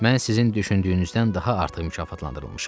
Mən sizin düşündüyünüzdən daha artıq mükafatlandırılmışam.